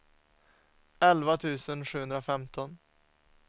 elva tusen sjuhundrafemton